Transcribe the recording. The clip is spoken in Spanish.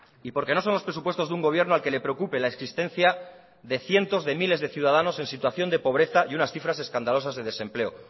y porque no son los presupuestos de un gobierno al que le preocupe la existencia de cientos de miles de ciudadanos en situación de pobreza y unas cifras escandalosas de desempleo